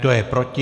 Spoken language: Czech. Kdo je proti?